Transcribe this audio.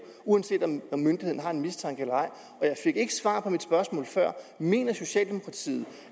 uanset om myndigheden har en mistanke eller ej jeg fik ikke svar på mit spørgsmål før mener socialdemokratiet